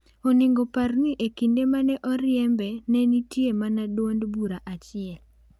Onego par ni e kinde mane oriembe ne nitie mana duond bura achiel.